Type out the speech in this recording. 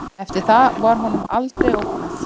Eftir það var honum aldrei ógnað